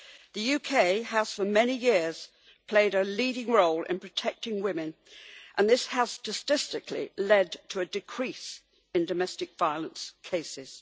The UK has for many years played a leading role in protecting women, and this has statistically led to a decrease in domestic violence cases.